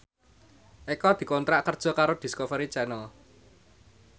Eko dikontrak kerja karo Discovery Channel